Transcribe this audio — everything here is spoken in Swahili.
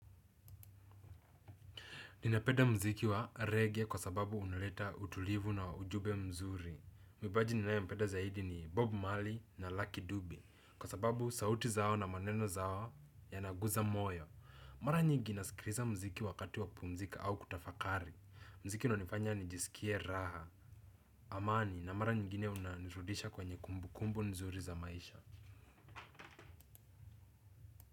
Ninapenda mziki wa reggae kwa sababu uneleta utulivu na ujumbe mzuri. Mwibaji ninaempeda zaidi ni Bob Mali na Lucky Dube. Kwa sababu sauti zao na maneno zao yanaguza moyo. Mara nyingi naskiriza mziki wakati wa kupumzika au kutafakari. Mziki unanifanya nijisikie raha, amani na mara nyingine unanirudisha kwenye kumbu kumbu nzuri za maisha.